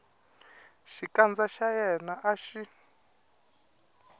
xikandza xa yena a xi